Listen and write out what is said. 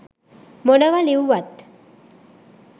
මොනවා ලියුවත්